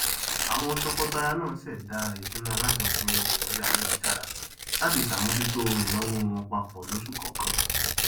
àwọn tọkọtaya náà ṣèdá ìṣúná alájọpín orí ayélujára latí sàmójútó ìnáwó wọn pap losù kọọkan